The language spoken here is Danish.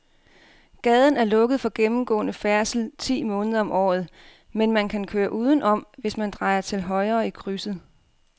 Gaden er lukket for gennemgående færdsel ti måneder om året, men man kan køre udenom, hvis man drejer til højre i krydset.